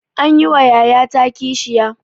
Anyi wa yayata kishiya.